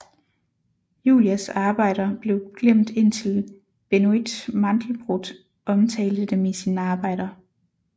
Julias arbejder blev glemt indtil Benoît Mandelbrot omtalte dem i sine arbejder